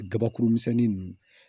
Kabakuru misɛnnin ninnu